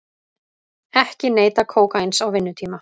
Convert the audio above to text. Ekki neyta kókaíns á vinnutíma